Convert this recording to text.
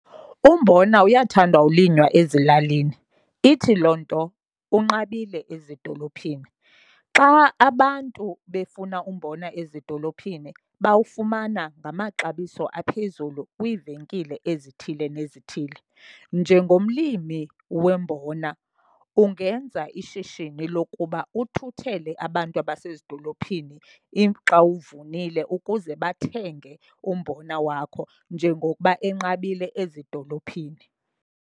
Umbona uyathandwa ulinywa ezilalini, ithi loo nto unqabile ezidolophini. Xa abantu befuna umbona ezidolophini bawufumana ngamaxabiso aphezulu kwiivenkile ezithile nezithile. Njengomlimi wombona ungenza ishishini lokuba uthuthele abantu abasezidolophini xa uwuvunile ukuze bathenge umbona wakho njengokuba enqabile ezidolophini.